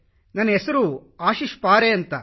ನನ್ನ ಹೆಸರು ಆಶೀಶ್ ಪಾರೆ ಎಂದು